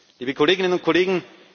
liebe Kolleginnen und Kollegen!